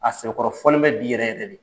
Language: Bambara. A sɛbɛkɔrɔ fɔlen bɛ bi yɛrɛ yɛrɛ de.